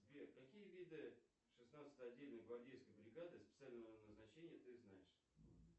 сбер какие виды шестнадцатой отдельной гвардейской бригады специального назначения ты знаешь